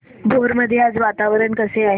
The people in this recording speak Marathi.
भोर मध्ये आज वातावरण कसे आहे